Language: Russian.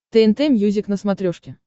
тнт мьюзик на смотрешке